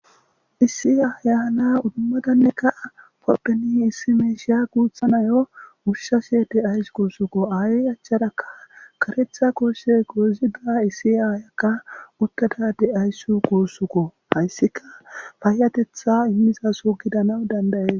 Issi aya na7iya imadaneka opene issi misha gutha nayo ushase de'ayus gusako ayyey achara karetha gosse gozida issi aya